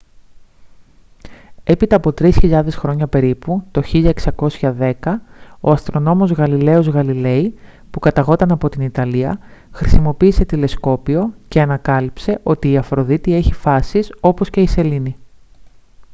έπειτα από τρεις χιλιάδες χρόνια περίπου το 1610 ο αστρονόμος γαλιλαίος γαλιλέι που καταγόταν από την ιταλία χρησιμοποίησε τηλεσκόπιο και ανακάλυψε ότι η αφροδίτη έχει φάσεις όπως και η σελήνη